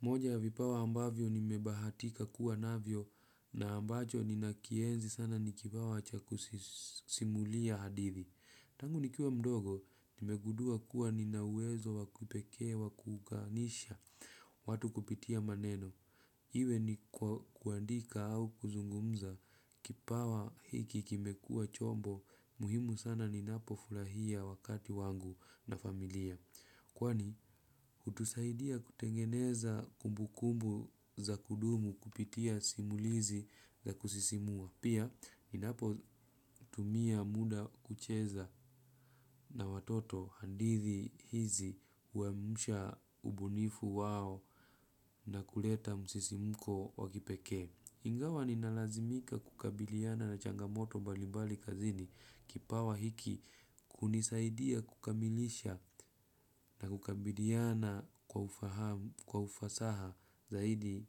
Moja ya vipawa ambavyo nimebahatika kuwa navyo na ambacho ninakienzi sana nikipawa cha kusimulia hadithi. Tangu nikiwa mdogo, nimegundua kuwa nina uwezo wa kipekee wa kuunganisha watu kupitia maneno. Iwe ni kuandika au kuzungumza kipawa hiki kimekua chombo muhimu sana ninapofurahia wakati wangu na familia. Kwani, hutusaidia kutengeneza kumbukumbu za kudumu kupitia simulizi za kusisimua. Pia, ninapotumia muda kucheza na watoto hadithi hizi huamsha ubunifu wao na kuleta msisimko wa kipekee. Ingawa ninalazimika kukabiliana na changamoto mbali mbali kazini kipawa hiki kunisaidia kukamilisha na kukabiliana kwa ufahamu kwa ufasaha zaidi